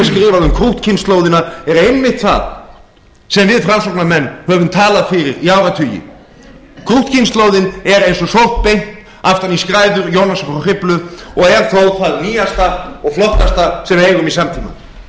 um krúttkynslóðina er einmitt það sem við framsóknarmenn höfum talað fyrir í áratugi krúttkynslóðin er eins og sótt beint aftur í skræður jónasar frá hriflu og er þó það nýjasta og flottasta sem við eigum í samtímanum